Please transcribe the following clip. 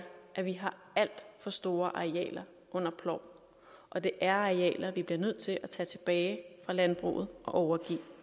at vi har alt for store arealer under plov og det er arealer vi bliver nødt til at tage tilbage fra landbruget og overgive